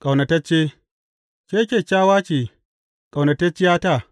Ƙaunatacce Ke kyakkyawa ce, ƙaunatacciyata!